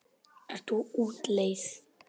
Ert þú á útleið?